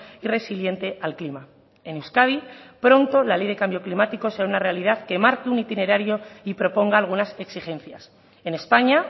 y resiliente al clima en euskadi pronto la ley de cambio climático será una realidad que marque un itinerario y proponga algunas exigencias en españa